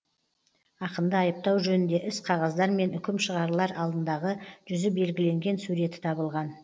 ақынды айыптау жөнінде іс қағаздар мен үкім шығарылар алдындағы жүзі белгіленген суреті табылған